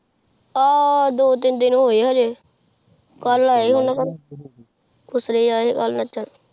ਆਹ ਦੋ ਤੀਨ ਹੋ ਗਯਾ ਹੁਣੇ ਕਲ ਏ ਹੋਣੇ ਨਾਚਾਂ